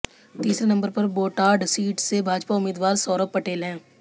तीसरे नंबर पर बोटाड सीट से भाजपा उम्मीदवार सौरभ पटेल हैं